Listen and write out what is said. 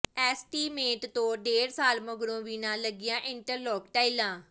estimate ਤੋਂ ਡੇਢ ਸਾਲ ਮਗਰੋਂ ਵੀ ਨਾ ਲੱਗੀਆਂ ਇੰਟਰਲਾਕ ਟਾਈਲਾਂ